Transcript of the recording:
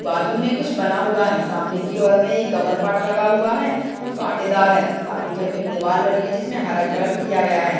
बाजु में कुछ बना हुआ हैं सामने की ओर में एक गमलपाटा लगा हुआ हैं जो कांटेदार हैं और सामने की ओर में दीवार बनी हैं जिसमे हरा कलर किया गया हैं।